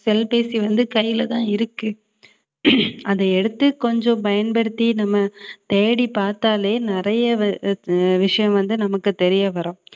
cell பேசி வந்து கையிலதான் இருக்கு அதை எடுத்து கொஞ்சம் பயன்படுத்தி நம்ம தேடிப் பார்த்தாலே நிறைய ஆஹ் விஷயம் வந்து நமக்குத் தெரியவரும்